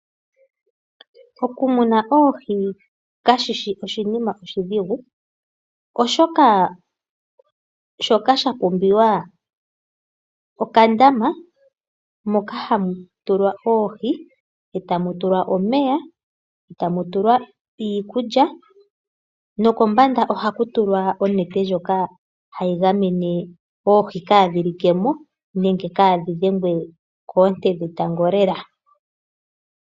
Okumuna oohi kashishi oshinima oshidhigu, oshoka shoka shapumbiwa okandama moka hamutulwa oohi eta mutulwa omeya , eta mutulwa iikulya, nokombanda ohaku tulwa onete ndjoka hayi gamene oohi kadhilekemo nenge kaadhi dhengwe koonte dhetango lela.